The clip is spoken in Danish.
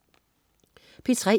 P3: